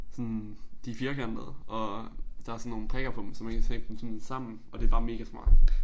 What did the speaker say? Sådan de firkantede og der sådan nogle prikker på dem så man kan sætte dem sådan sammen og det bare mega smart